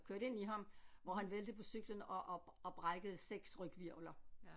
Kørte ind i ham hvor han væltede på cyklen og og og brækkede 6 ryghvirvler